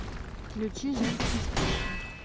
включи женские сплетни